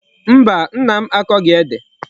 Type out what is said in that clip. Mba, Nna m akoghi Ede